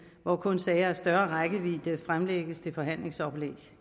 hvor kun sager af større rækkevidde fremlægges til forhandlingsoplæg